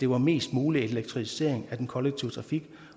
var mest mulig elektrificering af den kollektive trafik